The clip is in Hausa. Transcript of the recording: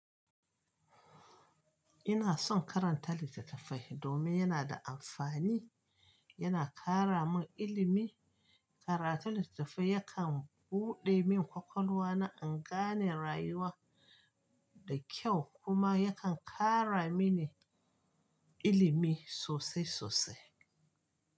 Ina son karanta littatafai domin yana da amfani, yana ƙara min ilimi. Karatun littattafai yakan buɗe min kwakwalwa na in gane rayuwa da kyau kuma yakan ƙara mini ilimi sosai sosai.